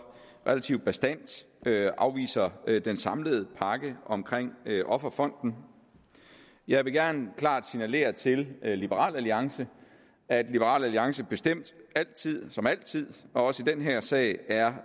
relativt bastant afviser den samlede pakke omkring offerfonden jeg vil gerne klart signalere til liberal alliance at liberal alliance bestemt som altid også i den her sag er